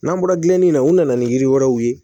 N'an bɔra gilanni na u nana ni yiri wɛrɛw ye